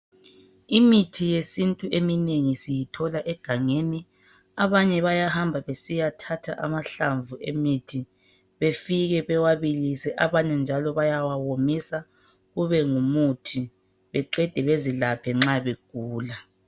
Imithi yesintu eminengi siyithola egangeni. Abanye bayahamba besiyathatha amahlamvu emithi befike bewabilise abanye njalo bayawawomisa kube ngumuthi beqede bezilaphe nxa begula.